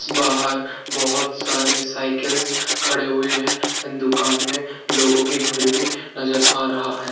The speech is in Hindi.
बाहर बहोत सारी साइकल्स खड़े हुए है एन्ड दुकान में लोगो की भीड भी नज़र आ रहा है।